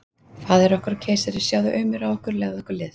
Faðir okkar og keisari, sjáðu aumur á okkur, legðu okkur lið!